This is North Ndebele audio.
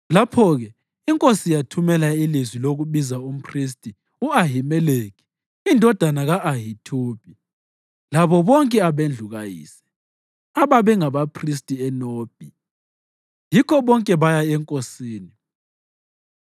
Lapho-ke inkosi yathumela ilizwi lokubiza umphristi u-Ahimeleki indodana ka-Ahithubi labo bonke abendlu kayise, ababengabaphristi eNobhi, yikho bonke baya enkosini.